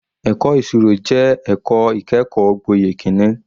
Ẹ̀kọ́ ìṣirò jẹ́ ẹ̀kọ́ ìkẹ́kọ̀ọ́ gboyè kìíní.